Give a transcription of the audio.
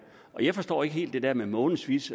og jeg forstår ikke helt det der med månedsvis